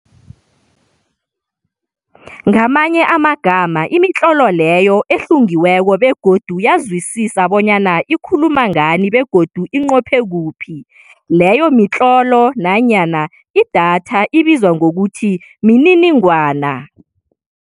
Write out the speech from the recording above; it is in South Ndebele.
Ngamanye amagama imitlolo leyo ehlungiweko begodu yazwisisa bonyana ikhuluma ngani begodu inqophe kuphi, leyo mitlolo nanyana idatha ibizwa ngokuthi mininingwana.